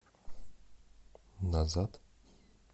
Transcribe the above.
назад